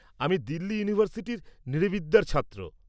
আমি দিল্লী ইউনিভার্সিটির নৃবিদ্যার ছাত্র।